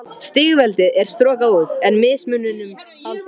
Stigveldið er strokað út, en mismuninum haldið.